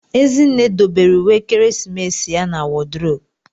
Ezinne dobere uwe ekeresimesi ya na wodrobu.